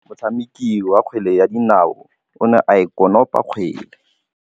Motshameki wa kgwele ya dinaô o ne a konopa kgwele.